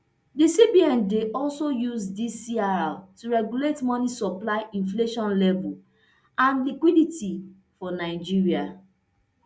di cbn dey also use dis crr to regulate money supply inflation level and liquidity for nigeria